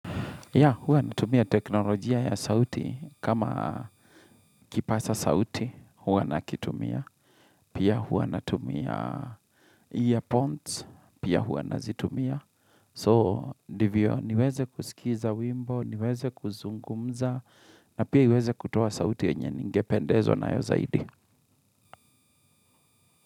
Ya, huwa natumia teknolojia ya sauti. Kama kipasa sauti, huwa nakitumia. Pia huwa natumia earphones, pia huwa nazitumia. So, ndivyo niwezekusikiza wimbo, niweze kuzungumza, na pia iweze kutoa sauti yenye ningependezwa na yo zaidi.